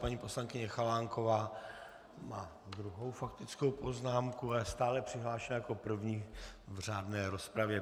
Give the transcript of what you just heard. Paní poslankyně Chalánková má druhou faktickou poznámku a je stále přihlášena jako první v řádné rozpravě.